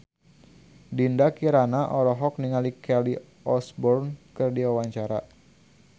Dinda Kirana olohok ningali Kelly Osbourne keur diwawancara